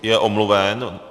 Je omluven.